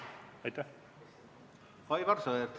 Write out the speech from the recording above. Aivar Sõerd, palun!